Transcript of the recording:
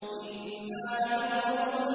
إِنَّا لَمُغْرَمُونَ